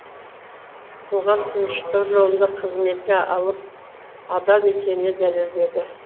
қоғам тыныштығы жолында қызметіне адал екенін дәлелдеді